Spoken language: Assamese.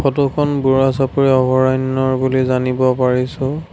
ফটোখন বুঢ়াচাপৰি অভয়াৰণ্যৰ বুলি জানিব পাৰিছোঁ।